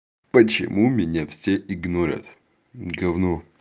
почему меня все игнорят гавно